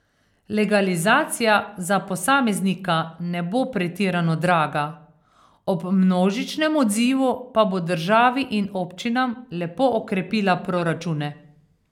Legalizacija za posameznika ne bo pretirano draga, ob množičnem odzivu pa bo državi in občinam lepo okrepila proračune.